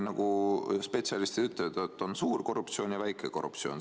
Nagu spetsialistid ütlevad, on suur korruptsioon ja väike korruptsioon.